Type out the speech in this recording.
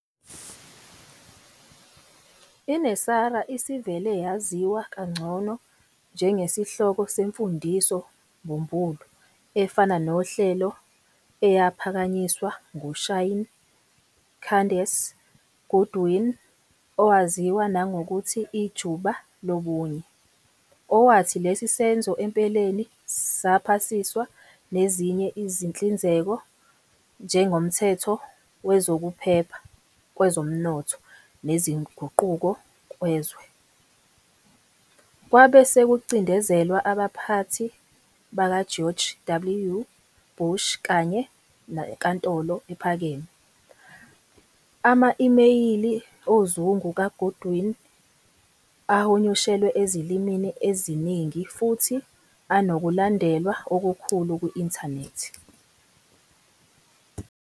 I-NESARA isivele yaziwa kangcono njengesihloko semfundiso-mbumbulu efana nohlelo eyaphakanyiswa nguShaini Candace Goodwin, owaziwa nangokuthi "Ijuba Lobunye", owathi lesi senzo empeleni saphasiswa nezinye izinhlinzeko njengoMthetho Wezokuphepha Kwezomnotho Nezinguquko Kwezwe., kwabe sekucindezelwa abaphathi bakaGeorge W. Bush kanye neNkantolo Ephakeme. Ama-imeyili ozungu kaGoodwin ahunyushelwe ezilimini eziningi futhi anokulandelwa okukhulu ku-inthanethi.